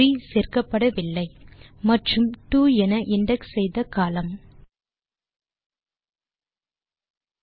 3 சேர்க்கப்படவில்லை மற்றும் 2 என இண்டெக்ஸ் செய்த கோலம்ன்